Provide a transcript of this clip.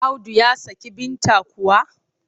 Audu ya saki Binta kuwa?